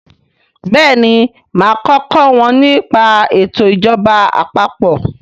béèni má ko kò wón ní pa eto ìjọba àpapọ̀.